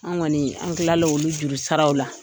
An kɔni an kilala olu juru saraw la.